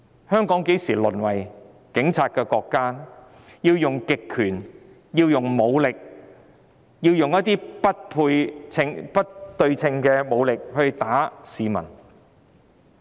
香港何時淪為警察國家，要運用不對稱的武力毆打市民？